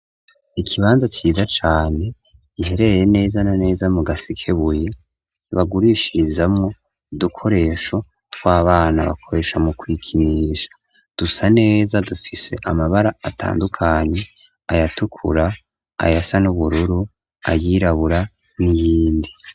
Ikibanza ciza cane ihereye neza na neza mu gasikebuye bagurishirizamwo dukoresho tw'abana bakoresha mu kwikinisha dusa neza dufise amabara atandukanyi ayatukura ayasa n'ubururu ayirabura n'iyindi.